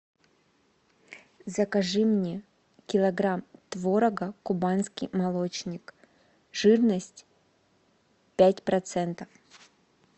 закажи мне килограмм творога кубанский молочник жирность пять процентов